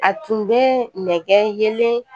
A tun bɛ nɛgɛ yelen